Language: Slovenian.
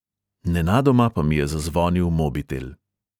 Nenadoma pa mi je zazvonil mobitel.